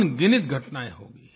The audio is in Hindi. अनगिनत घटनाएँ होंगी